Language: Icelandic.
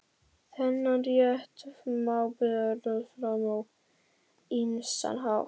Þennan rétt má bera fram á ýmsan hátt.